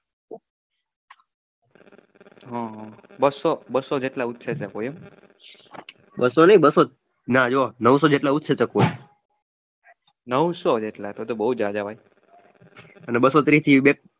બસો નહીં બસો ના જો નવસો જેટલા